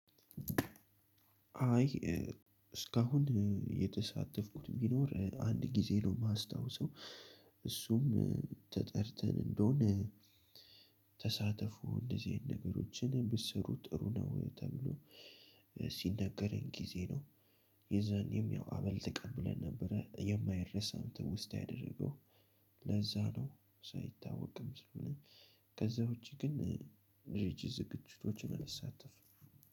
አይ። እስካሁን የተሳተፍኩት ቢኖር አንድ ጊዜ ነው የማስታውሰው። እሱም ተጠርተን እንደሆነ። ተሳተፉ እንደዚህ አይነት ነገሮችን ብትሰሩ ጥሩ ነው ተብሎ ሲነገረን ጊዜ ነው። የዛኔም ያው አበል ተቀብለን ነበረ የማይረሳ ትውስታ ያደረገው። ለዛ ነው ሳይታወቅም ስለሆነ ከዛ ውጪ ግን ሪች ዝግጅቶችን አልሳተፍም።